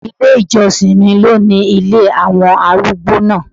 Ilé ìjọsìn mi ló ni ilé àwọn arúgbó náà.